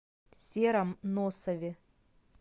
сером носове